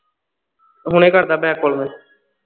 ਹੁਣੇ ਕਰਦਾ ਤੈਨੂੰ back call ਮੈਂ